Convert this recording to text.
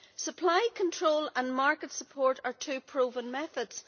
Supply control and market support are two proven methods.